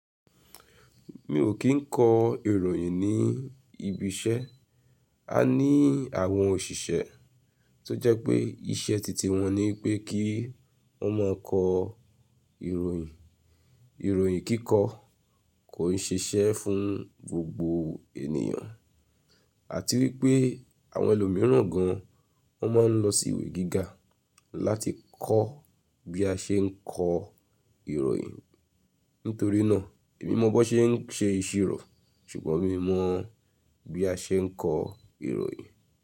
Mi ò kí ń kọ ìròyìn ní ibi iṣẹ́. A ní àwọn òṣìṣẹ́ tó jẹ́ pé iṣẹ́ titi wọn ni pé kí wọ́n máa kọ ìròyìn. Ìròyìn kíkọ kò ń ṣiṣẹ́ fún gbogbo ènìyàn. Àti wí pé àwọn ẹlòmíràn gan wọ́n máa ń lọ sí ìwé gíga láti kọ́ bí a ṣe ń kọ ìròyìn. Nítorí náà èmi mọ bó ṣe ń ṣe ìṣirò ṣùgbọ́n mi mọ bí a ṣe ń kọ ìròyìn.